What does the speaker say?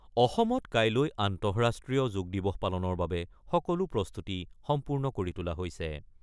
অসমত কাইলৈ আন্তঃৰাষ্ট্ৰীয় যোগদিবস পালনৰ বাবে সকলো প্ৰস্তুতি সম্পূৰ্ণ কৰি তোলা হৈছে।